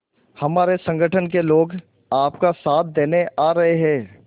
हमारे संगठन के लोग आपका साथ देने आ रहे हैं